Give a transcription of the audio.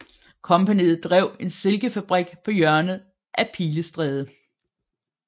Kompagniet drev en silkefabrik på hjørnet af Pilestræde